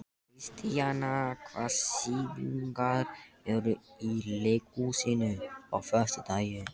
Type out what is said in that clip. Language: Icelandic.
Kornelíus, hvað er á dagatalinu mínu í dag?